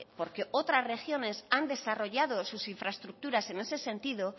porque otras regiones han desarrollado sus infraestructuras en ese sentido